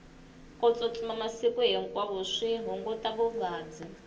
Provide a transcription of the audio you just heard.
ku tsutsuma masiku hinkwawo swi hunguta vuvabyi